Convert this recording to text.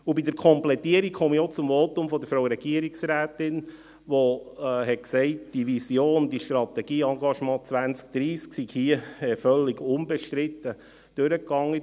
Bei der Komplettierung komme ich auch zum Votum der Frau Regierungsrätin, die gesagt hat, diese Vision, dieses Strategieengagement 2030, sei hier völlig unbestritten durchgegangen: